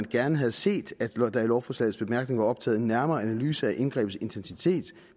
gerne havde set at der i lovforslagets bemærkninger var optaget en nærmere analyse af indgrebets intensitet